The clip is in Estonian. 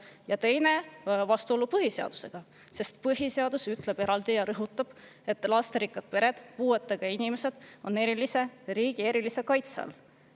Ja teiseks on eelnõu vastuolus põhiseadusega, sest põhiseadus ütleb eraldi ja rõhutab, et lasterikkad pered ja puuetega inimesed on riigi erilise kaitse all.